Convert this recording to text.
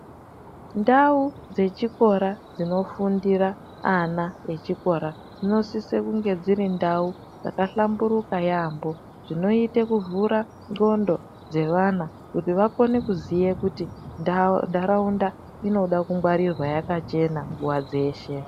Ndau dzechikora dzinofundira ana echikora dzinosise kunge dziri ndau dzakahlamburuka yaampho dzinoite kuvhura ndxondo dzevana kuti vakone kuziye kuti ntharaunda inoda kungwarirwa yakachena nguwa dzeshe.